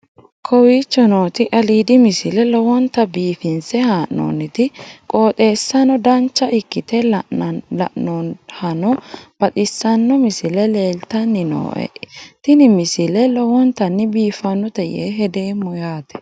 kowicho nooti aliidi misile lowonta biifinse haa'noonniti qooxeessano dancha ikkite la'annohano baxissanno misile leeltanni nooe ini misile lowonta biifffinnote yee hedeemmo yaate